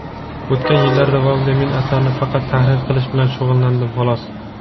O‘tgan yillar davomida men asarni faqat tahrir qilish bilan shug‘ullandim, xolos.